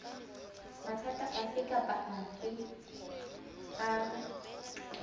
mathata afe kapa afe a